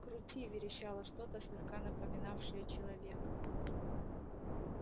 крути верещало что-то слегка напоминавшее человека